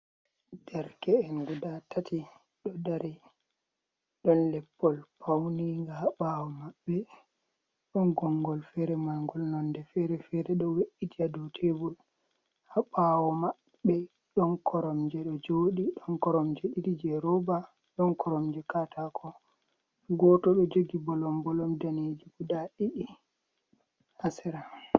Derke’en gudaa tati ɗo dari, ɗon leppol fawniinga haa ɓaawo maɓɓe, ɗon gonngol feere marngol nonnde feere-feere ɗo we''iti haa dow teebur, haa ɓaawo maɓɓe ɗon Koromje ɗo jooɗi, ɗon Koromje ɗiɗi jey rooba ɗon Koromje kaataako, gooto ɗo jogi bolom-bolom daneeji gudaa ɗiɗi haa sera.